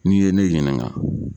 N'i ye ne ɲininka